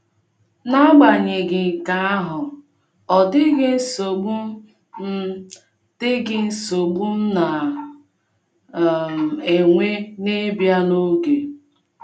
N’agbanyeghị nke ahụ, ọ dịghị nsogbu m dịghị nsogbu m na - um enwe n’ịbịa n’oge.